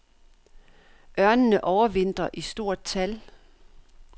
Ørnene overvintrer i stort tal.